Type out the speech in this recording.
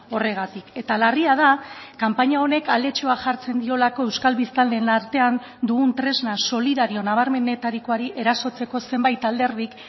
horregatik eta larria da kanpaina honek aletxoa jartzen diolako euskal biztanleen artean dugun tresna solidario nabarmenetarikoari erasotzeko zenbait alderdik